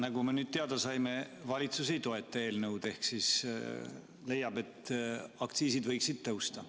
Nagu me nüüd teada saime, valitsus ei toeta eelnõu ehk siis leiab, et aktsiisid võiksid tõusta.